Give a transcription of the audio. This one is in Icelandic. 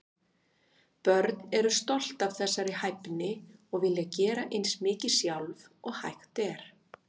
Börn eru stolt af þessari hæfni og vilja gera eins mikið sjálf og hægt er.